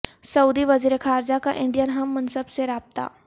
سعودی وزیر خارجہ کا انڈین ہم منصب سے رابطہ